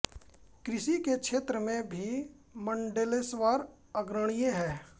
कृषि के क्षेत्र में भी मंडलेश्वर अग्रणीय है